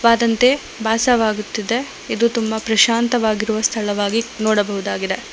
ಆದಂತೆ ಭಾಸವಾಗುತ್ತಿದೆ ಇದು ತುಂಬ ಪ್ರಶಾಂತವಾಗಿರುವ ಸ್ಥಳವಾಗಿ ನೋಡಬಹುದಾಗಿದೆ.